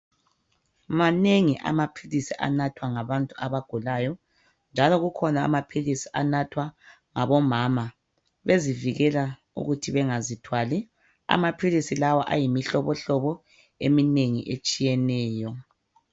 Manengi amaphilisi anathwa ngabantu abagulayo, njalo kukhona amaphilisi anathwa ngabomama bezivikela ukuthi bengazithwali amaphilisi lawa ayimihlobohlobo eminengi etshiyeneyo.